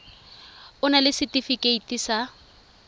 o na le setefikeiti sa